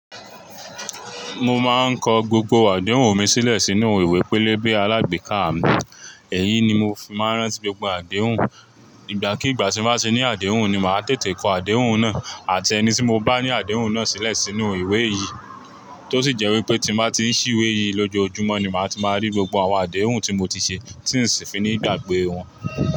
Mo máa ń kọ gbogbo àdéhùn mi sílẹ̀ sínú ìwé pélébé alágbèéká. Èyí ni mo fi máa ń ránti gbogbo àdéhùn. Ìgbà kí ìgbà tí mo bá ti ní àdéhùn ni màá tètè kọ àdéhùn náà àti ẹni tí mo bá ní àdéhùn náà sílẹ̀ sínú ìwé yìí. Tó sì jẹ́ wípé tí mo bá ti ń ṣí ìwé yìí lójoojúmọ́ ni màá ti máa rí gbogbo àwọn àdéhùn tí mo ti ṣe tí ń sì fi ní gbàgbé wọn.